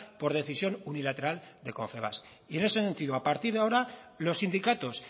por decisión unilateral de confebask en ese sentido a partir de ahora los sindicatos